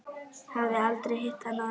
Hafði aldrei hitt hann áður.